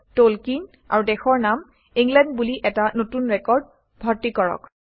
Tolkien আৰু দেশৰ নাম ইংলেণ্ড বুলি এটা নতুন ৰেকৰ্ড ভৰ্তি কৰক